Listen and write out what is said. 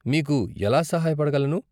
మీకు ఎలా సహాయ పడగలను?